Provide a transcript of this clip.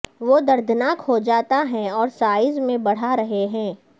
وہ دردناک ہو جاتے ہیں اور سائز میں بڑھا رہے ہیں